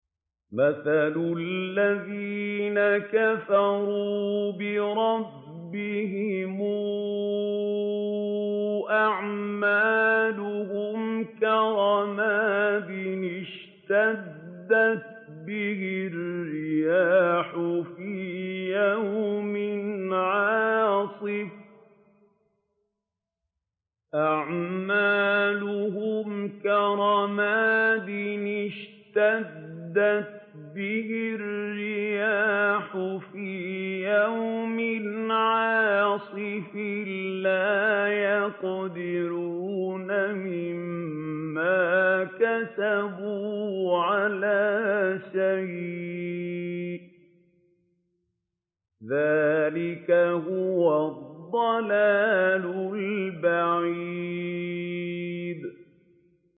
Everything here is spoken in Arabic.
مَّثَلُ الَّذِينَ كَفَرُوا بِرَبِّهِمْ ۖ أَعْمَالُهُمْ كَرَمَادٍ اشْتَدَّتْ بِهِ الرِّيحُ فِي يَوْمٍ عَاصِفٍ ۖ لَّا يَقْدِرُونَ مِمَّا كَسَبُوا عَلَىٰ شَيْءٍ ۚ ذَٰلِكَ هُوَ الضَّلَالُ الْبَعِيدُ